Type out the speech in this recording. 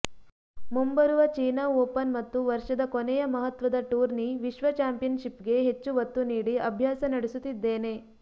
ಮುಂಬರುವ China open ಮತ್ತು ವರ್ಷದ ಕೊನೆಯ ಮಹತ್ವದ ಟೂರ್ನಿ ವಿಶ್ವ ಚಾಂಪಿಯನ್ಷಿಪ್ಗೆ ಹೆಚ್ಚು ಒತ್ತು ನೀಡಿ ಅಭ್ಯಾಸ ನಡೆಸುತ್ತಿದ್ದೇನೆ